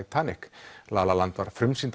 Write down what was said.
Titanic la la land var frumsýnd